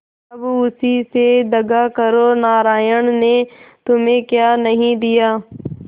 अब उसी से दगा करो नारायण ने तुम्हें क्या नहीं दिया